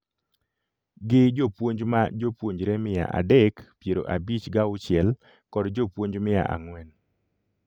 Gi jopuonj ma jopuonjre mia adek piero abich gauchiel kod jopuonj mia ang'wen